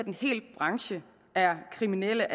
en hel branche er kriminelle